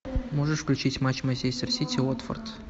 можешь включить матч манчестер сити уотфорд